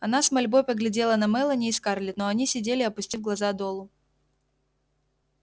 она с мольбой поглядела на мелани и скарлетт но они сидели опустив глаза долу